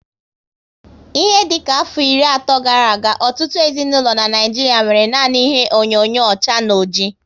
Ihe dịka afọ iri ato gara aga, ọtụtụ ezinaụlọ n'Naijiria nwéré nanị ihe onyinyo ọcha na ọjị